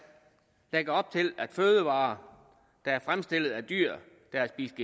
lægger op til at fødevarer der er fremstillet af dyr der har spist